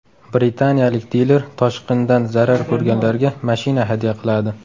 Britaniyalik diler toshqindan zarar ko‘rganlarga mashina hadya qiladi.